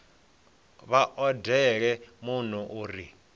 vha odele muno u re